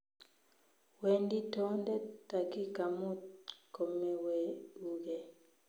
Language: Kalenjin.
Wendi toondet takika muut komeweguge